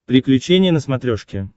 приключения на смотрешке